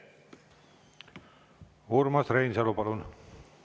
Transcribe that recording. Urmas Reinsalu, palun!